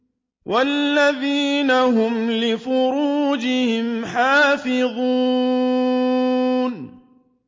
وَالَّذِينَ هُمْ لِفُرُوجِهِمْ حَافِظُونَ